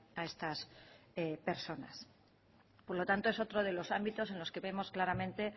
a estas personas por lo tanto es otro de los ámbitos en los que vemos claramente